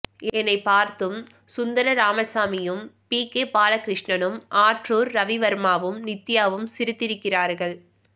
என்னைப்பார்த்தும் சுந்தர ராமசாமியும் P K பாலகிருஷ்ணனும் ஆற்றூர் ரவிவர்மாவும் நித்யாவும் சிரித்திருக்கிறார்கள்